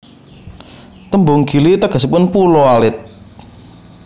Tembung Gili tegesipun pulo alit